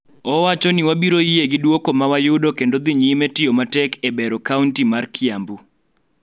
Owacho ni wabiro yie gi duoko ma wayudo kendo dhi nyime tiyo matek e bero kaonti mar Kiambu.